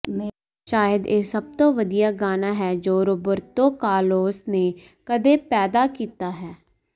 ਸ਼ਾਇਦ ਇਹ ਸਭ ਤੋਂ ਵਧੀਆ ਗਾਣਾ ਹੈ ਜੋ ਰੌਬਰਤੋ ਕਾਰਲੋਸ ਨੇ ਕਦੇ ਪੈਦਾ ਕੀਤਾ ਹੈ